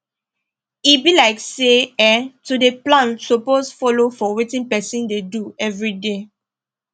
e be like say[um]to dey plan suppose follow for wetin person dey do everyday